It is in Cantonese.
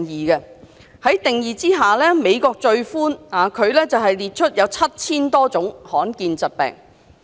在定義之下，美國最寬，它列出 7,000 多種罕見疾病。